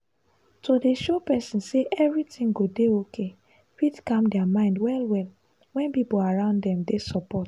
to show person say everything go dey okay fit calm their mind well-well when people around them dey support.